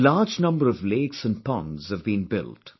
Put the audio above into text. A large number of lakes & ponds have been built